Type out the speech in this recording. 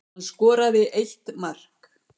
Hann skoraði eitt mark